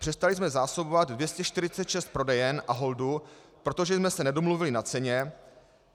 Přestali jsme zásobovat 246 prodejen Aholdu, protože jsme se nedomluvili na ceně.